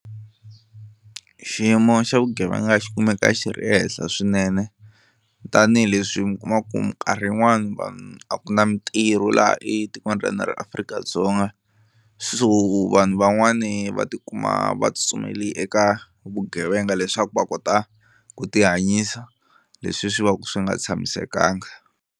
Xiyimo xa vugevenga xi kumeka xi ri ehenhla swinene tanihileswi mi kuma ku ka minkarhi yin'wani vanhu a ku na mintirho laha etikweni ra hina ra Afrika-Dzonga, so vanhu van'wani va tikuma va tsutsumele eka vugevenga leswaku va kota ku ti hanyisa leswi swi va ku swi nga tshamisekanga.